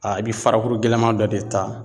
A bi farakuru gɛlɛman dɔ de ta